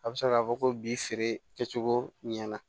A bɛ se k'a fɔ ko bi feere kɛ cogo ɲɛna